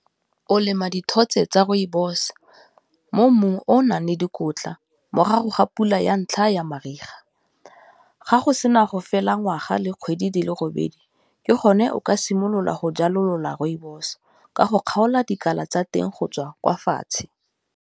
O lema dithotse tsa rooibos mo mmung o o nang le dikotla morago ga pula ya ntlha ya mariga, ga go sena go fela ngwaga le kgwedi di le robedi, ke gone o ka simolola go jalolola rooibos ka go kgaola dikala tsa teng go tswa kwa fatshe.